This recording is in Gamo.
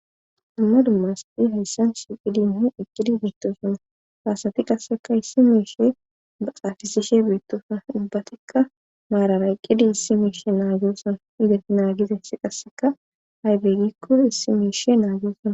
dumma dumma asadhi hayssan shiqidinhu eqqidi beettosuna faasati qasseka issi miishe baxaafisishe beettosana dubbatikka maarara eqqidi issi miishe naagesona iza naagiza ssi qasseka haybeeygikko issi miishe naaguosonna